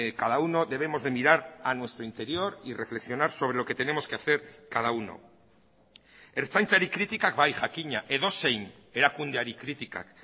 cada uno debemos de mirar a nuestro interior y reflexionar sobre lo que tenemos que hacer cada uno ertzaintzari kritikak bai jakina edozein erakundeari kritikak